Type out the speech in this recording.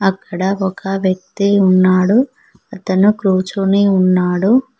అక్కడ ఒక వ్యక్తి ఉన్నాడు అతను కూర్చొని ఉన్నాడు.